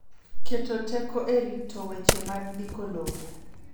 Keto teko e rito weche mag ndiko lowo.